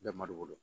Bɛɛ malo bolo